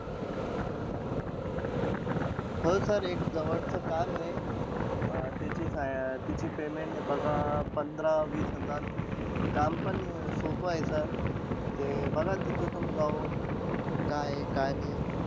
हो sir एक जवळचं काम आहे. अं त्याची payment बघा आह पंधरा-वीस हजार रुपये आहे. काम पण अं सोपं आहे sir. ते बघा तिथं तुम्ही जाऊन काय आहे, काय नाई.